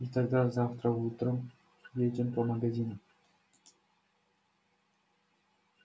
и тогда завтра утром едем по магазинам